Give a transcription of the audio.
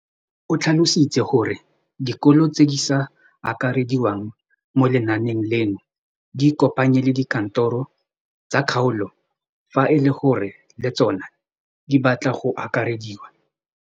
O tlhalositse gore dikolo tse di sa akarediwang mo lenaaneng leno di ikopanye le dikantoro tsa kgaolo fa e le gore le tsona di batla go akarediwa.